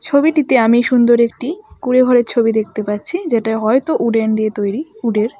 ছবিটিতে আমি সুন্দর একটি কুঁড়ে ঘরের ছবি দেখতে পাচ্ছি যেটা হয়তো উডেন দিয়ে তৈরি উড -এর।